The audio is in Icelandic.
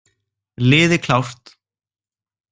Liði klárt!